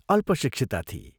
अल्पशिक्षिता थिई।